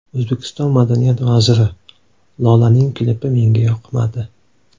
O‘zbekiston madaniyat vaziri: Lolaning klipi menga yoqmadi.